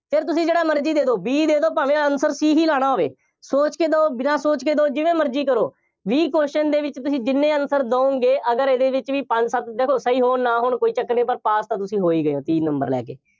ਫਿਰ ਤੁਸੀਂ ਜਿਹੜਾ ਮਰਜ਼ੀ ਦੇ ਦਿਓ, B ਦੇ ਦਿਓ ਭਾਵੇਂ answer C ਹੀ ਲਾਉਣਾ ਹੋਵੇ। ਸੋਚ ਕੇ ਦਿਓ, ਬਿਨਾ ਸੋਚ ਕੇ ਦਿਓ, ਜਿਵੇਂ ਮਰਜ਼ੀ ਕਰੋ, ਵੀਹ question ਦੇ ਵਿੱਚ ਤੁਸੀਂ ਜਿੰਨੇ answer ਦਿਓਗੇ, ਅਗਰ ਇਹਦੇ ਵਿੱਚ ਵੀ ਪੰਜ ਸੱਤ ਦੇਖੋ ਸਹੀ ਹੋਣ, ਨਾ ਹੋਣ, ਕੋਈ ਚੱਕਰ ਨਹੀਂ ਪਰ pass ਤਾਂ ਤੁਸੀਂ ਹੋ ਹੀ ਗਏ ਹੋ, ਤੀਹ number ਲੈ ਕੇ।